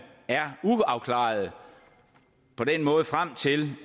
er uafklarede på den måde frem til